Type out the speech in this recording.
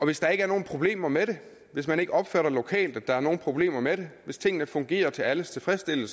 hvis der ikke er nogen problemer med det hvis man ikke opfatter lokalt at der er nogen problemer med det hvis tingene fungerer til alles tilfredshed